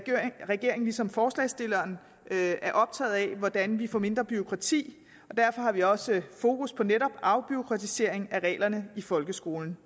regeringen ligesom forslagsstillerne er optaget af hvordan vi får mindre bureaukrati og derfor har vi også fokus på netop afbureaukratisering af reglerne i folkeskolen